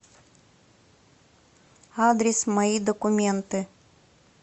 адрес мои документы